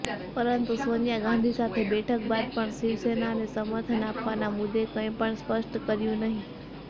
પરંતુ સોનિયા ગાંધી સાથે બેઠક બાદ પણ શિવસેનાને સમર્થન આપવાના મુદ્દે કંઈપણ સ્પષ્ટ કર્યું નહી